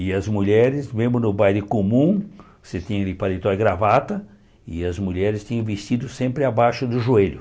E as mulheres, mesmo no baile comum, você tinha ali paletó e gravata, e as mulheres tinham vestido sempre abaixo do joelho.